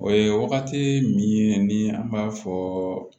O ye wagati min ye ni an b'a fɔ